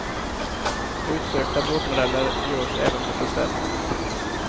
Utsökta båtmodeller görs även på beställning.